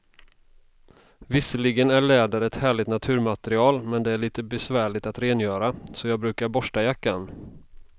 Visserligen är läder ett härligt naturmaterial, men det är lite besvärligt att rengöra, så jag brukar borsta jackan.